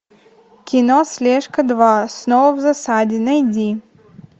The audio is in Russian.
кино слежка два снова в засаде найди